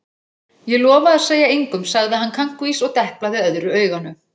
Ég lofa að segja engum sagði hann kankvís og deplaði öðru auganu.